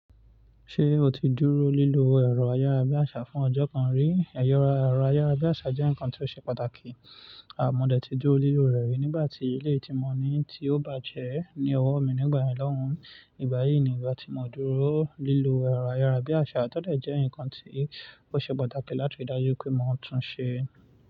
Ṣé o ti dúró lílo ẹ̀rọ ayárabíàṣá fún ọjọ́ kan rí? Ẹ̀rọ ayárabíàṣá jẹ́ nǹkan tó ṣe pàtàkì. À mo dẹ̀ ti dúró lílò rẹ̀ rí nígbà tí eléyìí ti mo ní tí ó bàjẹ́ ní ọwọ́ mi nígbà yẹn lọ́hùn. Ìgbà yìí ni ìgbà tí mo dúró lílo ẹ̀rọ ayárabíàṣá, tó dẹ̀ jẹ́ ǹkan tí ó ṣe pàtàkì láti ri dájú pé mo tún ṣe.